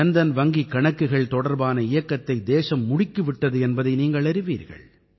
ஜன்தன் வங்கிக் கணக்குகள் தொடர்பான இயக்கத்தை தேசம் முடுக்கி விட்டது என்பதை நீங்கள் அறிவீர்கள்